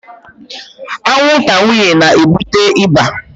Anwụnta nwanyị na-ebute ịba